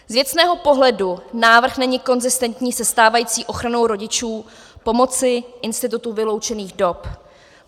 Z věcného pohledu návrh není konzistentní se stávající ochranou rodičů pomocí institutu vyloučených dob.